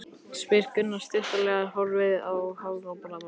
spyr Gunnar stuttaralega, horfir háðslega á skipstjórann.